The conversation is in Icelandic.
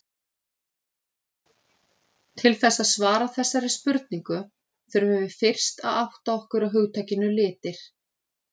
Til þess að svara þessari spurningu þurfum við fyrst að átta okkur á hugtakinu litir.